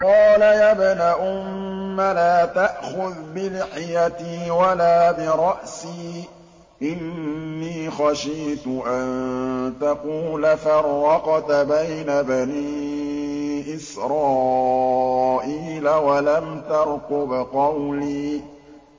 قَالَ يَا ابْنَ أُمَّ لَا تَأْخُذْ بِلِحْيَتِي وَلَا بِرَأْسِي ۖ إِنِّي خَشِيتُ أَن تَقُولَ فَرَّقْتَ بَيْنَ بَنِي إِسْرَائِيلَ وَلَمْ تَرْقُبْ قَوْلِي